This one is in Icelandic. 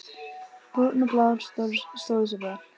Brúnn og Blár stóðu sig vel.